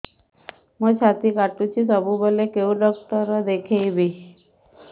ମୋର ଛାତି କଟୁଛି ସବୁବେଳେ କୋଉ ଡକ୍ଟର ଦେଖେବି